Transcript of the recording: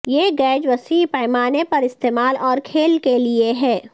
یہ گیج وسیع پیمانے پر استعمال اور کھیل کے لئے ہے